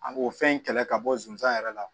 An b'o fɛn in kɛlɛ ka bɔ zonzan yɛrɛ la